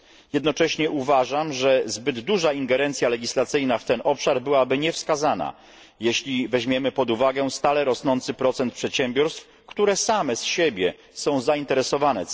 Jednocześnie uważam, że zbyt duża ingerencja legislacyjna w ten obszar byłaby niewskazana, jeżeli weźmiemy pod uwagę stale rosnący procent przedsiębiorstw, które same z siebie są tą odpowiedzialnością zainteresowane.